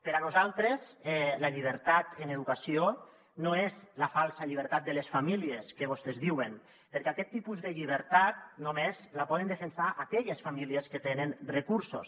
per a nosaltres la llibertat en educació no és la falsa llibertat de les famílies que vostès diuen perquè aquest tipus de llibertat només la poden defensar aquelles fa·mílies que tenen recursos